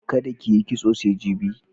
Kada ki yi kitso sai jibi.